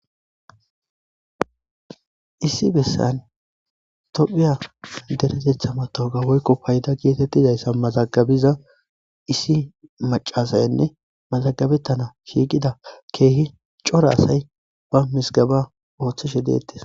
Issi besan thophiya derethetha mathawuqa woykko faydda gethethizayssa mazagabiza issi macca assaynne mazagabethanawu shiqiza kehi cora assay ba mizgeba othishe dethess.